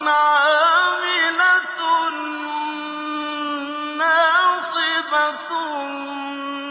عَامِلَةٌ نَّاصِبَةٌ